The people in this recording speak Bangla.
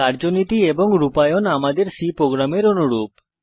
কার্যনীতি এবং রূপায়ণ আমাদের C প্রোগ্রামের অনুরূপ